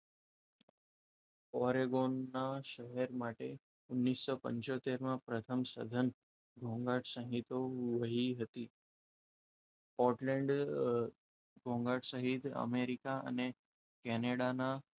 Oregon ના શહેર માટે ઓગણીસો પંચોતેર માં પ્રથમ સદન ઘોંઘાટ સહિતા વહી હતી. પોર્ટલેન્ડ ઘોંઘાટ સહિત અમેરિકા અને કેનેડાના,